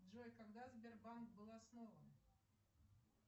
джой когда сбербанк был основан